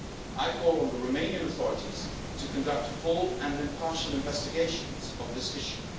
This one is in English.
I call on the Romanian authorities to conduct full and impartial investigations into this issue.